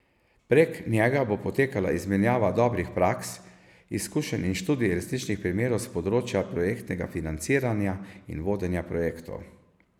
Prek njega bo potekala izmenjava dobrih praks, izkušenj in študij resničnih primerov s področja projektnega financiranja in vodenja projektov.